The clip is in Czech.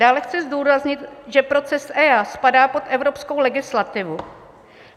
Dále chci zdůraznit, že proces EIA spadá pod evropskou legislativu.